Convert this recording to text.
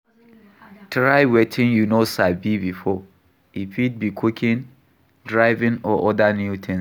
Try wetin you no sabi before, e fit be cooking, driving or oda new things